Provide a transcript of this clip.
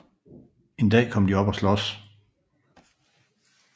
En dag kom de op at slås